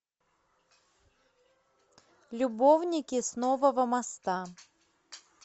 любовники с нового моста